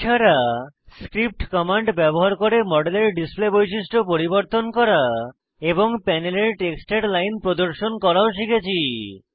এছাড়া script command ব্যবহার করে মডেলের ডিসপ্লে বৈশিষ্ট্য পরিবর্তন করা এবং প্যানেলের টেক্সটের লাইন প্রদর্শন করাও শিখেছি